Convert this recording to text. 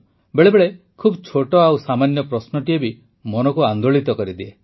ବେଳେବେଳେ ଖୁବ ଛୋଟ ଆଉ ସାମାନ୍ୟ ପ୍ରଶ୍ନଟିଏ ବି ମନକୁ ଆନ୍ଦୋଳିତ କରିଦିଏ